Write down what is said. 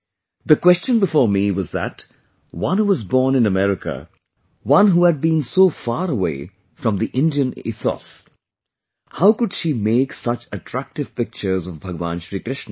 The question before me was that one who was born in America, who had been so far away from the Indian ethos; how could she make such attractive pictures of Bhagwan Shir Krishna